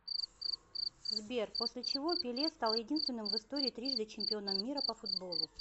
сбер после чего пеле стал единственным в истории трижды чемпионом мира по футболу